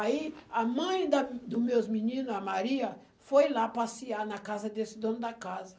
Aí, a mãe da dos meus meninos, a Maria, foi lá passear na casa desse dono da casa.